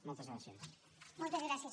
moltes gràcies